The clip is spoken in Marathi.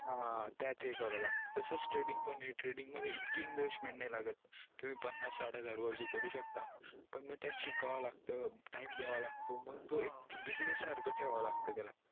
हा त्यात हे करावं लागत तसंच thrading पण ये thrading मध्ये इतकी investment नई लागत तुम्ही पन्नास साठ वर भी करू शकता पण म त्यात शिकावं लागत time दयावा लागतो मंग तो एक business सारखं ठेवावा लागतो त्याला